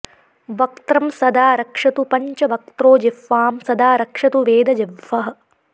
वक्त्रं सदा रक्षतु पञ्चवक्त्रो जिह्वां सदा रक्षतु वेदजिह्वः